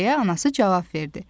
deyə anası cavab verdi.